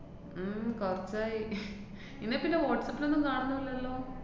ഉം കുറച്ചായി ഇന്നെ പിന്നെ വാട്സാപ്പിലൊന്നും കാണുന്നില്ലല്ലോ?